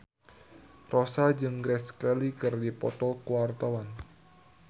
Rossa jeung Grace Kelly keur dipoto ku wartawan